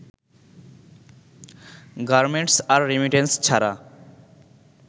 garments আর remittance ছাড়া